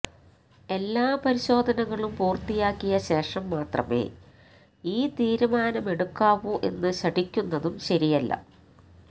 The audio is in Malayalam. എല്ലാ പരിശോധനകളും പൂര്ത്തിയാക്കിയശേഷം മാത്രമേ ഈ തീരുമാനമെടുക്കാവൂ എന്നു ശഠിക്കുന്നതും ശരിയല്ല